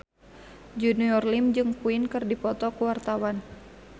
Junior Liem jeung Queen keur dipoto ku wartawan